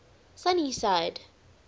sunnyside